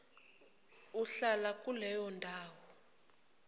ohlala kuleyo ndawo